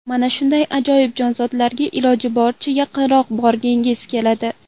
Mana shunday ajoyib jonzotlarga iloji boricha yaqinroq borgingiz keladi.